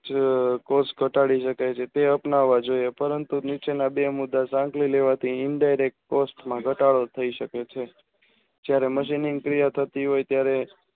જે કોષ ઘટાડી શકે છે તે અપનાવા જોઇએ પરંતુ નીચેના બે મીટર લાગણી લેવાથી Indirect Post માં ઘટાડો થાય શકે છે જયારે મજુનીન ક્રિયા થતી હોય છે ત્યરે